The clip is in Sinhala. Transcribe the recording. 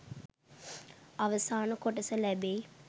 අවසාන කොටස ලැබෙයි